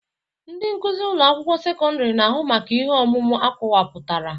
Ndị nkuzi ụlọ akwụkwọ sekọndrị na-ahụ maka ihe ọmụmụ akọwapụtara